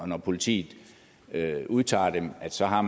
når politiet udtager dem så har